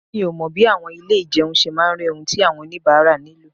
Mi ò mọ bí àwọn ilé ìjẹun ṣe máa rí ohun tí àwọn oníbàárà nílò.